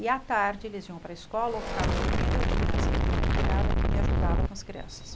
E à tarde eles iam para a escola ou ficavam dormindo, eu tinha sempre uma empregada que me ajudava com as crianças.